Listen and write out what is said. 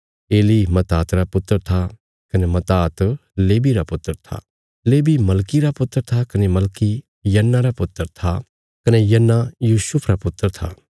Eli Matthat रा पुत्र था कने मत्तात लेवी रा पुत्र था लेवी मलकी रा पुत्र था कने मलकी यन्ना रा पुत्र था कने यन्ना यूसुफ रा पुत्र था